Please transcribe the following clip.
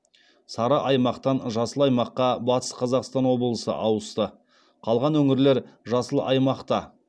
сары аймақтан жасыл аймаққа батыс қазақстан облысы ауысты қалған өңірлер жасыл аймақта